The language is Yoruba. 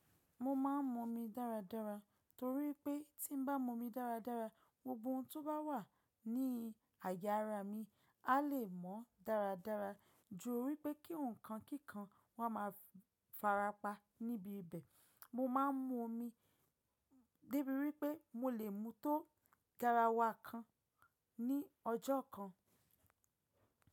Mo máa ń mú omi dáradára torí pé tí ń bá mú omi dáradára, gbogbo ohun tó bá wà ní àyà ara mi á lè mọ́ dáradára ju wípé kí ǹkan kíkan wá máa farapa níbi ibẹ̀. Mo máa ń mú omi débí wípé mo lè mú tó garawa kan ní ọjọ́ kan.